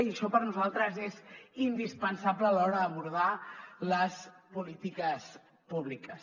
i això per nosaltres és indispensable a l’hora d’abordar les polítiques públiques